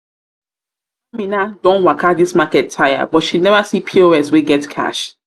don waka this market tire but she never see pos wey get cash